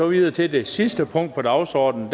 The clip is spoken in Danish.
videre til det sidste punkt på dagsordenen